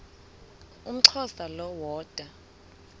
umxhosa lo woda